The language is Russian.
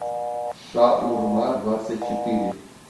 шаурма двадцать четыре